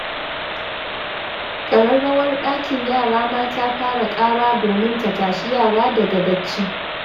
Ƙararrawar ɗakin yara ma ta fara ƙara domin ta tashi yara daga bacci.